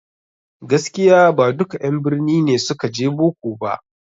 Gaskiya ba duka en birni ne suka je boko ba